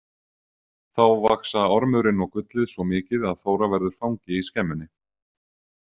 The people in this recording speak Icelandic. Þá vaxa ormurinn og gullið svo mikið að Þóra verður fangi í skemmunni.